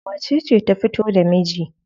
Wacece ta fito da miji?